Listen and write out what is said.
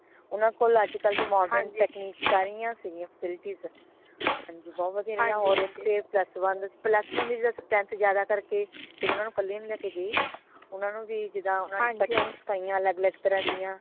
ਓਨਾ ਕੋਲ ਅੱਜ ਕਲ ਦੀਆ modern technique ਸਾਰੀਆਂ ਸਿਗਿਆ facilities ਹਾਂਜੀ ਬਹੁਤ ਵਧੀਆ ਰਇਆ ਓਰ ਓਥੇ plus one ਸੀ plus one ਦੀ strength ਜ਼ਿਆਦਾ ਕਰਕੇ ਫੇਰ ਓਨਾ ਨੂ ਕਲੀ ਨੂ ਲੈ ਕੇ ਗਏ ਊਨਾ ਨੂ ਵੀ ਜਿਦਾ cuttings ਸਿਖਾਇਆ ਅਲੱਗ ਅਲੱਗ ਤਰਾਂ ਦੀਆ